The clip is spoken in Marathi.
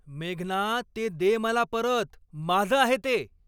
मेघना, ते दे मला परत. माझं आहे ते!